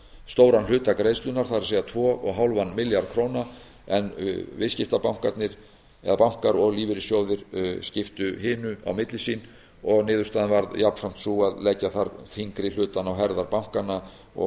stóran hluta greiðslunnar það er tvö komma fimm milljarða króna en bankar og lífeyrissjóðir skiptu hinu á milli sín niðurstaðan varð jafnframt sú að leggja þar þyngri hlutann á herðar bönkunum og